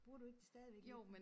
Bruger du ikke det stadigvæk lidt?